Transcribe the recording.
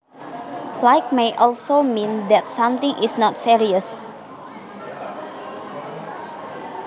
Light may also mean that something is not serious